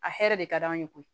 A hɛrɛ de ka d'an ye koyi